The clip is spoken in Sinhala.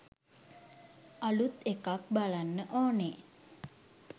අළුත් එකක් බලන්න ඕනේ.